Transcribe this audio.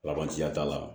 ya t'a la